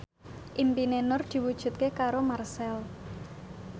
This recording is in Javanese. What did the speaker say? impine Nur diwujudke karo Marchell